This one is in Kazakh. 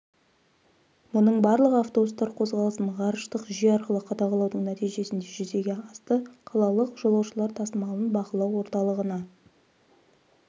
мұның барлығы автобустар қозғалысын ғарыштық жүйе арқылы қадағалаудың нәтижесінде жүзеге асты қалалық жолаушылар тасымалын бақылау орталығына